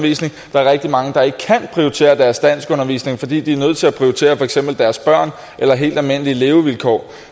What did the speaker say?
der er rigtig mange der ikke kan prioritere deres danskundervisning fordi de er nødt til at prioritere for eksempel deres børn eller helt almindelige levevilkår